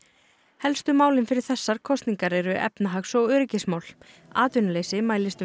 helstu málin fyrir þessar kosningar eru efnahags og öryggismál atvinnuleysi mælist um